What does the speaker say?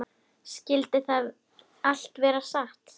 Skyldi það allt vera satt?